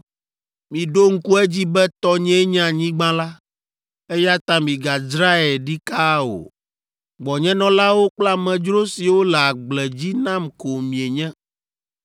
“ ‘Miɖo ŋku edzi be tɔnyee nye anyigba la, eya ta migadzrae ɖikaa o. Gbɔnyenɔlawo kple amedzro siwo le agble dzi nam ko mienye!